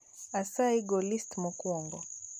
asayi, go list mokwongo